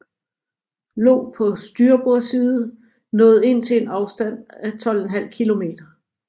Lo på styrbord side nået ind til en afstand af 12½ km